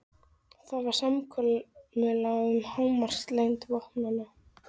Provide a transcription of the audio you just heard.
Það var samkomulag um hámarkslengd vopnanna.